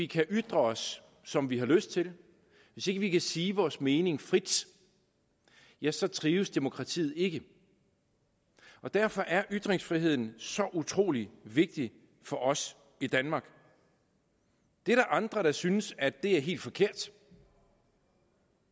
kan ytre os som vi har lyst til hvis vi ikke kan sige vores mening frit ja så trives demokratiet ikke derfor er ytringsfriheden så utrolig vigtig for os i danmark der er andre der synes at det er helt forkert